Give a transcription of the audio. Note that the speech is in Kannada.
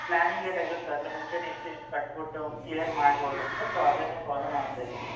Planning ಎಲ್ಲ ಇರುತ್ತೆ ಅದ್ರಮುಂಚೆನೆ ಇಷ್ಟು ಇಷ್ಟು ಕಟ್ಬಿಟ್ಟು clear ಮಾಡ್ಬೋದು ಅಂತ so ಅದನ್ನೇ follow ಮಾಡ್ತಾ ಇದ್ದೀನಿ.